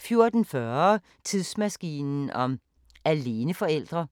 14:40: Tidsmaskinen om aleneforældre